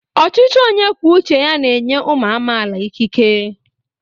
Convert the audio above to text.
Ọchịchị onye kwuo uche ya na-enye ụmụ amaala ikike.